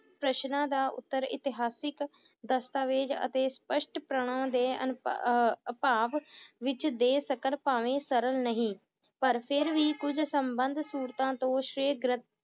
ਪ੍ਰਸ਼ਨਾਂ ਦਾ ਉੱਤਰ ਇਤਿਹਾਸਿਕ ਦਸਤਾਵੇਜ ਅਤੇ ਸਪਸ਼ਟ ਪ੍ਰਾਣਾਂ ਦੇ ਅਨਪ~ ਅਹ ਭਾਵ ਵਿੱਚ ਦੇ ਸਕਣ ਭਾਵੇਂ ਸਰਲ ਨਹੀਂ ਪਰ ਫਿਰ ਵੀ ਕੁਝ ਸੰਬੰਧ ਸੂਰਤਾਂ ਤੋਂ